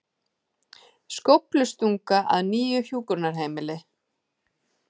Skóflustunga að nýju hjúkrunarheimili